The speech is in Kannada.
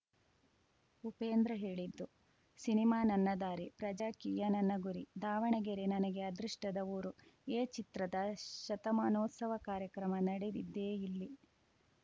ಉಪೇಂದ್ರ ಹೇಳಿದ್ದು ಸಿನಿಮಾ ನನ್ನ ದಾರಿ ಪ್ರಜಾಕೀಯ ನನ್ನ ಗುರಿ ದಾವಣಗೆರೆ ನನಗೆ ಅದೃಷ್ಟದ ಊರು ಎ ಚಿತ್ರದ ಶತಮಾನೋತ್ಸವ ಕಾರ್ಯಕ್ರಮ ನಡೆದಿದ್ದೇ ಇಲ್ಲಿ